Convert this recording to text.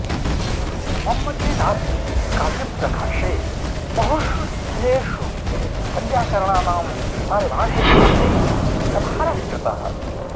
मम्मटेनाऽपि काव्यप्रकाशे बहुषु स्थलेषु वैयाकरणानां पारिभाषिकशब्दैः व्यवहारः कृतः